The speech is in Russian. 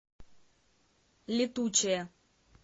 летучая